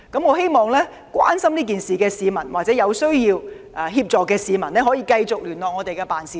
我希望關注這事件的市民或有需要協助的市民繼續聯絡我們的辦事處。